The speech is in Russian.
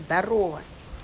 здорова